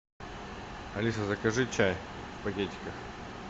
алиса закажи чай в пакетиках